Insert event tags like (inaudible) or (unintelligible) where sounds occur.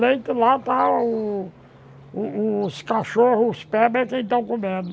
Leite lá está... O o os cachorros, os, (unintelligible) é quem estão comendo.